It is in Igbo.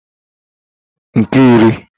nke iri